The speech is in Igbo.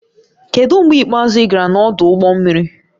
Kedu mgbe ikpeazụ ị gara n'ọdụ ụgbọ mmiri?